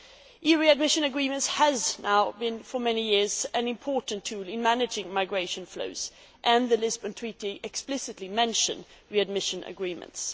The readmission agreement has been, for many years now, an important tool in managing migration flows, and the Lisbon Treaty explicitly mentions readmission agreements.